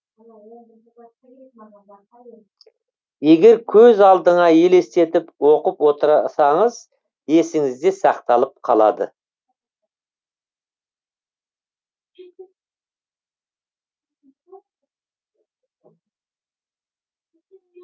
егер көз алдыңа елестетіп оқып отырсаңыз есіңізде сақталып қалады